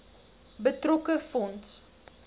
betrokke fonds